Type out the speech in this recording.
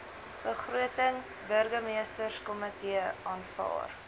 begroting burgemeesterskomitee aanvaar